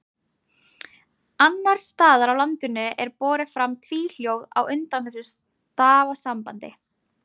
annars staðar á landinu er borið fram tvíhljóð á undan þessu stafasambandi